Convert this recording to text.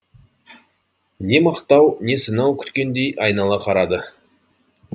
не мақтау не сынау күткендей айнала қарады